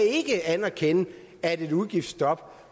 ikke anerkende at et udgiftsstop